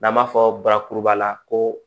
N'an b'a fɔ barakuruba la ko